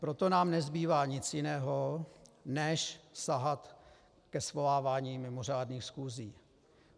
Proto nám nezbývá nic jiného než sahat ke svolávání mimořádných schůzí.